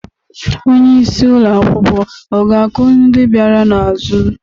Onye isi ụlọ akwụkwọ ọ ga-akụ ndị bịara n'azụ?